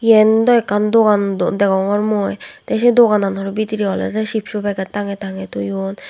yen dw ekkan dogan don degongor mui tey sey dogananot bidirey olode sipso packet tange tange toyon.